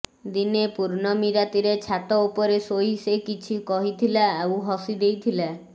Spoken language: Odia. ଦିନେ ପୂର୍ଣ୍ଣମୀ ରାତିରେ ଛାତ ଉପରେ ଶୋଇ ସେ କିଛି କହିଥିଲା ଆଉ ହସିଦେଇଥିଲା